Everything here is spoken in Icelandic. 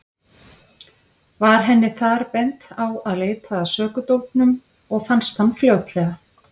Var henni þar bent á að leita að sökudólgnum og fannst hann fljótlega.